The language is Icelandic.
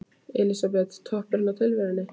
Elísabet: Toppurinn á tilverunni?